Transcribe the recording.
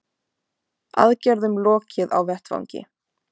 Aðgerðum lokið á vettvangi